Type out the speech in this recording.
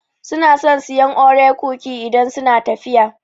Su na son sayan Oreo cookie idan suna tafiya